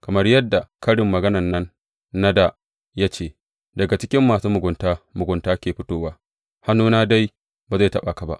Kamar yadda karin maganan nan na dā ya ce, Daga cikin masu mugunta, mugunta ke fitowa,’ hannuna dai ba zai taɓa ka ba.